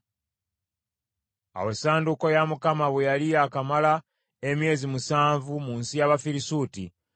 Awo essanduuko ya Mukama bwe yali yakamala emyezi musanvu mu nsi y’Abafirisuuti,